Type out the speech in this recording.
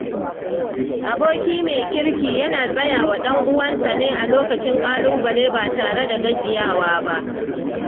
Aboki mai kirki yana tsaya wa ɗan'uwansa a lokacin ƙalubale ba tare da gajiyawa ba.